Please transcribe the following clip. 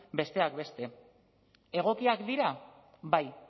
besteak beste egokiak dira bai